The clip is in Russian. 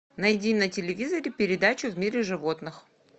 найди на телевизоре передачу в мире животных